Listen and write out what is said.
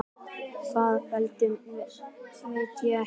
Hvað veldur, veit ég ekki.